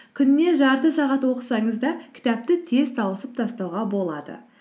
күніне жарты сағат оқысаңыз да кітапты тез тауысып тастауға болады